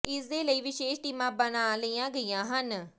ਇਸ ਦੇ ਲਈ ਵਿਸ਼ੇਸ਼ ਟੀਮਾਂ ਬਣਾ ਲਈਆਂ ਗਈਆਂ ਹਨ